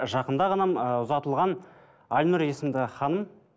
жақында ғана ыыы ұзатылған айнұр есімді ханым